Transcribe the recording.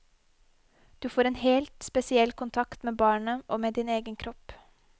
Du får en helt spesiell kontakt med barnet og med din egen kropp.